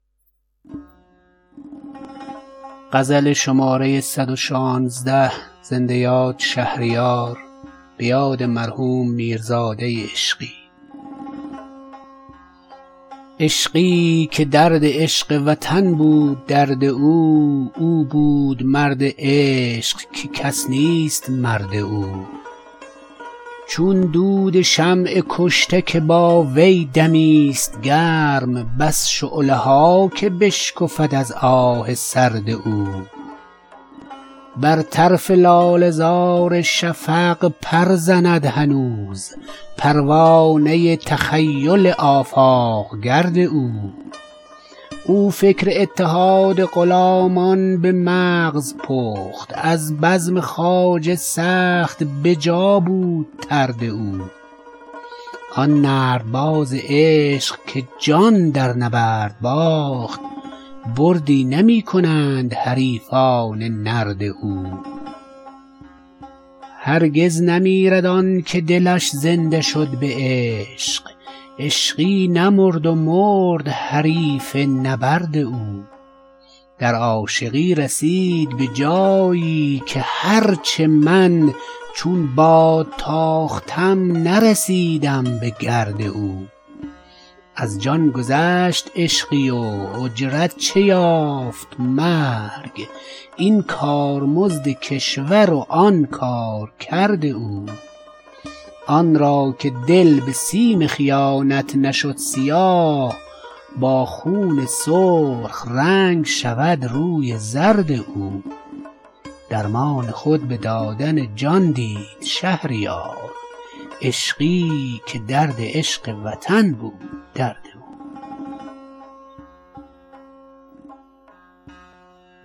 عشقی که درد عشق وطن بود درد او او بود مرد عشق که کس نیست مرد او چون دود شمع کشته که با وی دمی ست گرم بس شعله ها که بشکفد از آه سرد او بر طرف لاله زار شفق پر زند هنوز پروانه تخیل آفاق گرد او او فکر اتحاد غلامان به مغز پخت از بزم خواجه سخت به جا بود طرد او آن نردباز عشق که جان در نبرد باخت بردی نمی کنند حریفان نرد او هرگز نمیرد آنکه دلش زنده شد به عشق عشقی نمرد و مرد حریف نبرد او در عاشقی رسید به جایی که هرچه من چون باد تاختم نرسیدم به گرد او کشتی عشق را نرسد تخته بر کنار موج جنون شکافته دریانورد او از جان گذشت عشقی و اجرت چه یافت مرگ این کارمزد کشور و آن کارکرد او آن را که دل به سیم خیانت نشد سیاه با خون سرخ رنگ شود روی زرد او درمان خود به دادن جان دید شهریار عشقی که درد عشق وطن بود درد او